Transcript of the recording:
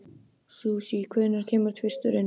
Susie, hvenær kemur tvisturinn?